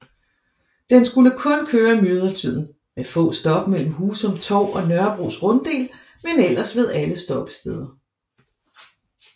Den skulle kun køre i myldretiden med få stop mellem Husum Torv og Nørrebros Runddel men ellers ved alle stoppesteder